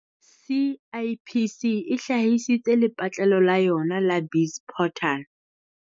CIPC e hlahisitse lepatlelo la yona la BizPortal